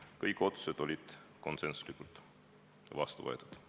Kõik otsused said konsensuslikult vastu võetud.